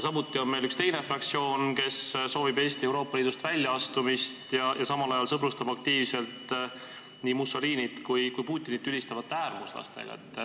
Samuti on meil üks teine fraktsioon, kes soovib Eesti Euroopa Liidust väljaastumist ja sõbrustab samal ajal aktiivselt nii Mussolinit kui Putinit ülistavate äärmuslastega.